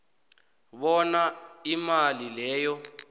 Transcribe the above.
bona imali leyo